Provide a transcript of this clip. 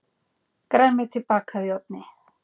Grænmeti bakað í ofni